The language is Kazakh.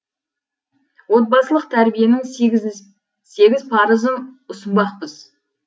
отбасылық тәрбиенің сегіз парызын ұсынбақпыз